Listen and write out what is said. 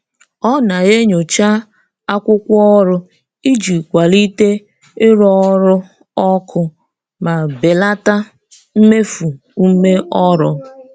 Ọ na-enyocha akwụkwọ ọrụ iji kwalite ịrụ ọrụ ọkụ ma belata mmefu ume ọrụ.